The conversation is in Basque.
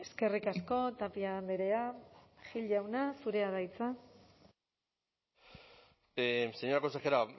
eskerrik asko tapia andrea gil jauna zurea da hitza señora consejera